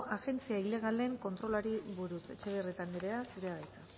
agentzia ilegalen kontrolari buruz etxebarrieta anderea zurea da hitza